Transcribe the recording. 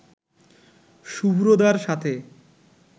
সুভদ্রার সাথে